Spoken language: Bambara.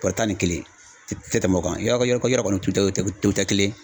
Bɔrɔ tan ni kelen, i tɛ tɛmɛn o kan, yɔrɔ kɔni olu tɛ kelen ye.